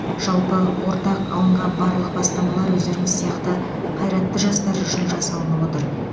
жалпы ортақ алынған барлық бастамалар өздеріңіз сияқты қайратты жастар үшін жасалынып отыр